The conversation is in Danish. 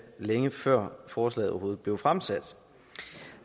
længe før forslaget overhovedet blev fremsat